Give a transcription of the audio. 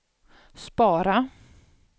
spara